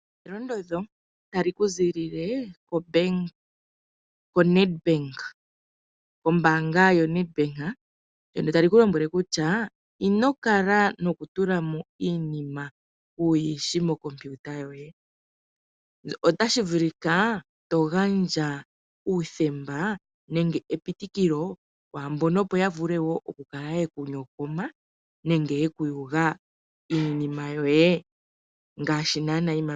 Elondodho tali zi kombaanga yoNedBank ndyoka tali tii! ino kala nokutula mo iinima ku yishi mooKompiyuta dhoye, otashi vulika wugandje epitikilo opo wu yugwe iinima yoye unene tuu iimaliwa.